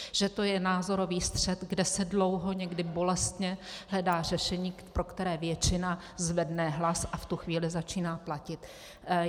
Že to je názorový střet, kde se dlouho, někdy bolestně hledá řešení, pro které většina zvedne hlas a v tu chvíli začíná platit.